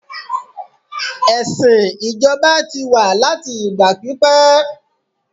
ẹsìn ijoba ti wa láti ìgbà pípé